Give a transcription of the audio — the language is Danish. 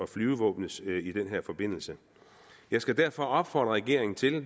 flyvevåbnets i den her forbindelse jeg skal derfor opfordre regeringen til det